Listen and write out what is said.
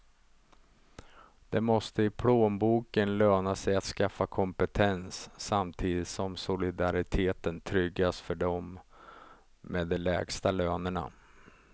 Det måste i plånboken löna sig att skaffa kompetens, samtidigt som solidariteten tryggas för dem med de lägsta lönerna.